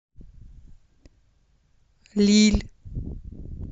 лилль